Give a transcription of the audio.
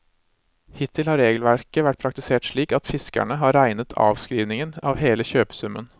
Hittil har regelverket vært praktisert slik at fiskerne har regnet avskrivningen av hele kjøpesummen.